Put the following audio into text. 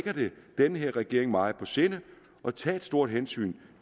den her regering meget på sinde at tage et stort hensyn